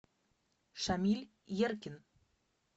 шамиль еркин